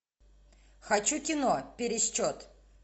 хочу кино пересчет